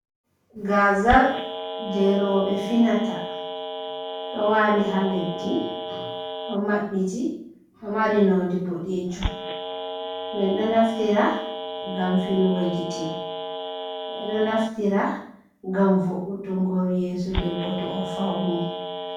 Gazal je robe finata wali ha leddi do maɓbiti do mari nonde boɗejum men do naftira ngam finugo gite ɓeɗo naftira ngam vo’utugo yeso ɗebbo to o fauni.